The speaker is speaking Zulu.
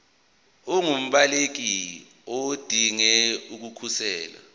ungumbaleki odinge ukukhosela